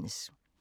DR1